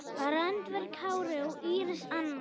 Randver Kári og Íris Anna.